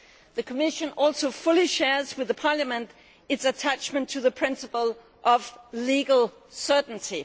The Commission also fully shares with Parliament its attachment to the principle of legal certainty.